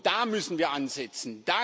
Da müssen wir ansetzen.